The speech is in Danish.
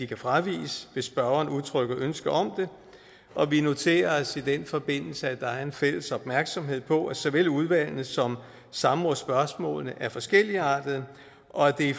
kan fraviges hvis spørgeren udtrykker ønske om det og vi noterer os i den forbindelse at der er en fælles opmærksomhed på at såvel udvalgene som samrådsspørgsmålene er forskelligartede og at det i